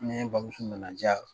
Ne bamuso nana ja